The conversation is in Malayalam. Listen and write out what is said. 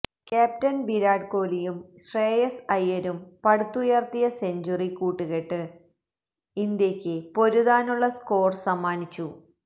ക്യാപ്റ്റന് വിരാട് കോഹ്ലിയും ശ്രേയസ് അയ്യരും പടുത്തുയര്ത്തിയ സെഞ്ചുറി കൂട്ടുകെട്ട് ഇന്ത്യക്ക പൊരുതാനുള്ള സ്കോര് സമ്മാനിച്ചു